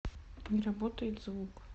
не работает звук